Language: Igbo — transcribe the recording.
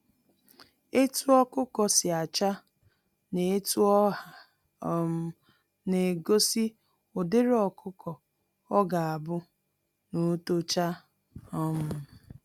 Etu ọkụkọ si acha, na etu ọha um na egosi ụdịrị ọkụkọ ọ ga-abu n'otocha um